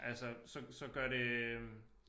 Altså så så gør det øh